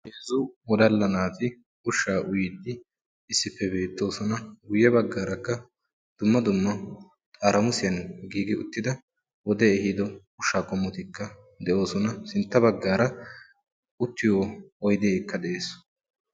Daro wodalla naati ushshaa uyiiddi issippe beetosonna. Guye bagan dumma dumma zamaana ushshatti beetosona sinttan oyddekka de'ees.